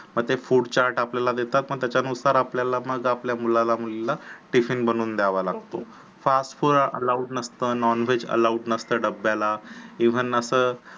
मग ते food chart आपल्याला देतात मग त्याच्यानुसार मग आपल्याला मग आपल्या मुलाला मुलीला tiffin बनवून द्यावा लागतो fast food allowed नसतो non- veg allowed नसत डब्याला even अस